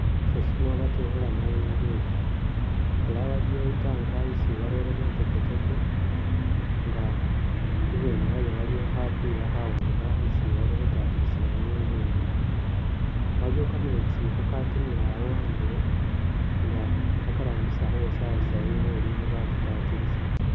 Mushifo shino batekhelamo inguli, era waliwo i tank isi bareyemo teketeke nga ibweni wayo waliyo khapila khawanga isi bali khutatilisilamo inguli yino, waliwo kametsi kakatimila awo andulo nga bakarambisa khuwosawosa inguli ne bakitatilisa.